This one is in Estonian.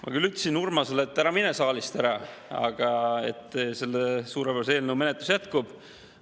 Ma küll ütlesin Urmasele, et ära mine saalist ära, selle suurepärase eelnõu menetlus jätkub.